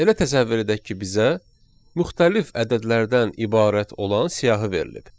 Elə təsəvvür edək ki, bizə müxtəlif ədədlərdən ibarət olan siyahı verilib.